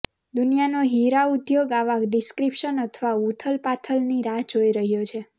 દુનિયાનો હીરા ઉદ્યોગ આવા ડિસ્રપ્શન અથવા ઉથલપાથલની રાહ જોઈ રહ્યો છે